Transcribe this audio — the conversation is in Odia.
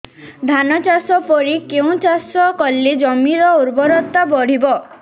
ଧାନ ଚାଷ ପରେ କେଉଁ ଚାଷ କଲେ ଜମିର ଉର୍ବରତା ବଢିବ